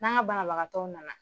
N'anga banabagatɔw nana.